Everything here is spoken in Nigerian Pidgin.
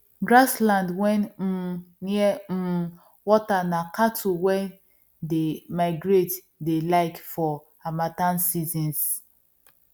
grass land wen um near um water na cattle wen dey migrate dey like for harmattan seasons